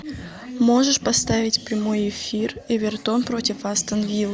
можешь поставить прямой эфир эвертон против астон виллы